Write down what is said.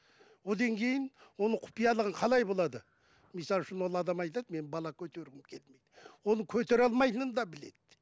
одан кейін оның құпиялығын қалай болады мысалы үшін ол адам айтады мен бала көтергім келмейді оны көтере алмайтынында да біледі